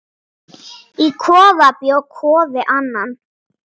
Í kofa bjó Kofi Annan.